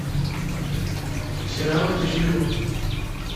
сериалы от эйч би о